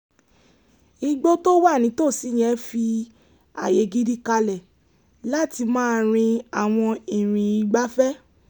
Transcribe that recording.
igbó tó wà nítòsí yẹn fi ààyè gidi kalẹ̀ láti máa rin àwọn ìrìn ìgbafẹ́